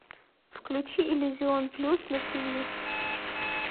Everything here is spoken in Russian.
включи иллюзион плюс на тв